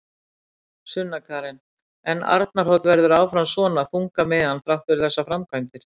Sunna Karen: En Arnarhóll verður áfram svona þungamiðjan þrátt fyrir þessar framkvæmdir?